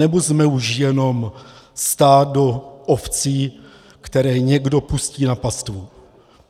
Anebo jsme už jenom stádo ovcí, které někdo pustí na pastvu?